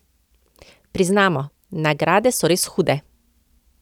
Priznamo, nagrade so res hude!